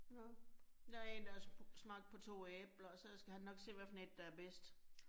Nåh, der 1, der har smagt på 2 æbler, og så skal han nok se, hvad for 1, der er bedst